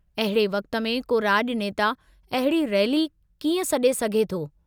अहिड़े वक़्त में को राज॒नेता अहिड़ी रैली कीअं सडे॒ सघे थो?